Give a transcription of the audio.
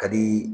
Ka di